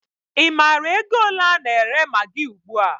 Ị maara ego ole a na-ere magị ugbua?